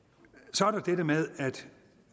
så er der dette med at